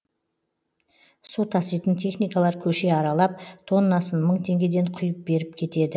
су таситын техникалар көше аралап тоннасын мың теңгеден құйып беріп кетеді